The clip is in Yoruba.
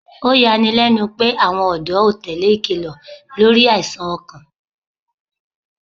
Oyani lẹnu pe awọn ọ̀dọ́ o tele ikilọ lori aisan ọkan